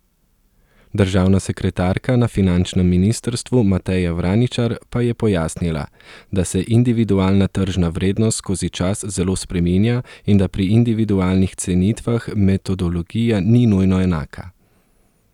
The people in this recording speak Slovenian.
Državna sekretarka na finančnem ministrstvu Mateja Vraničar pa je pojasnila, da se individualna tržna vrednost skozi čas zelo spreminja in da pri individualnih cenitvah metodologija ni nujno enaka.